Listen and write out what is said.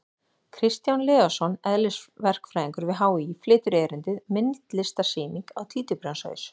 Kristján Leósson, eðlisverkfræðingur við HÍ, flytur erindið: Myndlistarsýning á títuprjónshaus!